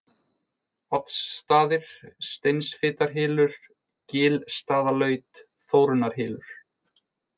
Oddsstaðir, Steinsfitarhylur, Glitstaðalaut, Þórunnarhylur